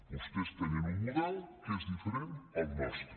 vostès tenen un model que és diferent del nostre